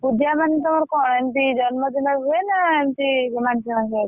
ପୂଜା ମାନେ ତମର କଁ ଏମିତି ଜନ୍ମଦିନରେ ହୁଏ ନା ଏମିତି ମାନସିକ ଫାନସିକ କିଛି?